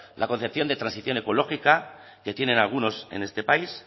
la concepción de transición ecológica que tienen algunos en este país